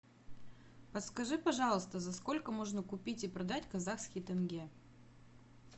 подскажи пожалуйста за сколько можно купить и продать казахский тенге